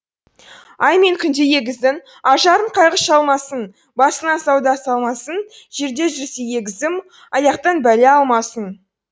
ай мен күндей егіздің ажарын қайғы шалмасын басына сауда салмасын жерде жүрсе егізім аяқтан бәле алмасын